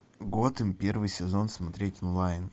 готэм первый сезон смотреть онлайн